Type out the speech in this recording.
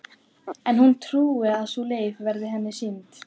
En hún trúir að sú leið verði henni sýnd.